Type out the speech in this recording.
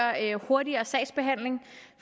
hurtigere sagsbehandling